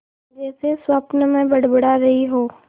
जैसे स्वप्न में बड़बड़ा रही हो